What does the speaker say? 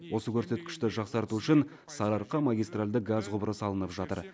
осы көрсеткішті жақсарту үшін сарыарқа магистарльді газ құбыры салынып жатыр